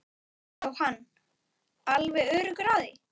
Jóhann: Alveg öruggur á því?